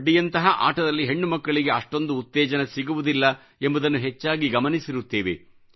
ಕಬಡ್ಡಿಯಂತಹ ಆಟದಲ್ಲಿ ಹೆಣ್ಣುಮಕ್ಕಳಿಗೆ ಅಷ್ಟೊಂದು ಉತ್ತೇಜನ ಸಿಗುವುದಿಲ್ಲ ಎನ್ನುವುದನ್ನು ಹೆಚ್ಚಾಗಿ ಗಮನಿಸಿರುತ್ತೇವೆ